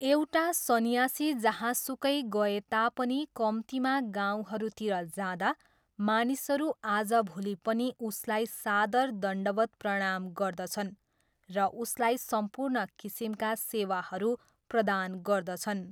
एउटा सन्यासी जहाँसुकै गए तापनि कम्तीमा गाउँहरूतिर जाँदा मानिसहरू आजभोलि पनि उसलाई सादर दण्डवत् प्रणाम गर्दछन् र उसलाई सम्पूर्ण किसिमका सेवाहरू प्रदान गर्दछन्।